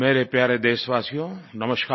मेरे प्यारे देशवासियो नमस्कार